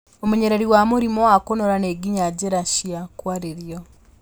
Ũmenyereri wa mũrimũ wa kũnora nĩ nginya njĩra cia kwarĩrio